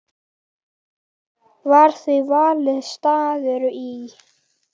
Var því valinn staður í